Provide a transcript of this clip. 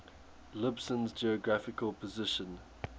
lisbon's geographical position